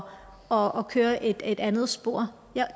og køre i et et andet spor